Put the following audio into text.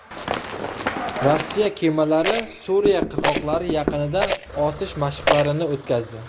Rossiya kemalari Suriya qirg‘oqlari yaqinida otish mashqlarini o‘tkazdi.